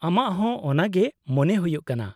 ᱟᱢᱟᱜ ᱦᱚᱸ ᱚᱱᱟᱜᱮ ᱢᱚᱱᱮ ᱦᱩᱭᱩᱜ ᱠᱟᱱᱟ ?